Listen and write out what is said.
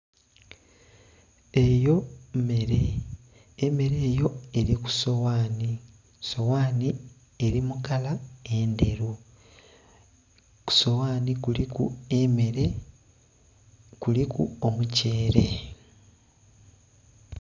Eyo mmere, emmere eyo eli ku sowaani, sowaani eli mu kala endheru, ku sowaani kuliku emmere kuliku omutyeere